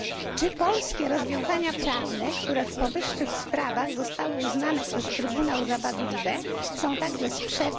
Czy polskie rozwiązania prawne, które w powyższych sprawach zostały uznane przez Trybunał za wadliwe, są także sprzeczne z projektem...